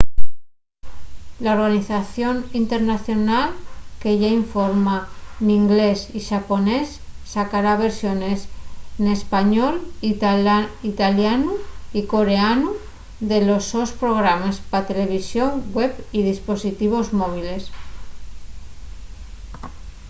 la organización internacional que yá informa n'inglés y xaponés sacará versiones n'español italianu y coreanu de los sos programes pa televisón web y dispositivos móviles